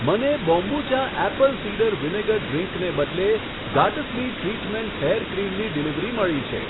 મને kombucha apple cider vinegar ડ્રીંકને બદલે ગાટસ્બી ટ્રીટમેન્ટ હેર ક્રીમની ડિલિવરી મળી છે.